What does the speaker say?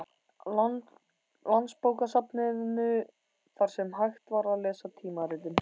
Landsbókasafninu, þar sem hægt var að lesa tímaritin.